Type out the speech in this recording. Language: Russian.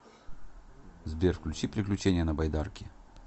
сбер включи приключения на байдарке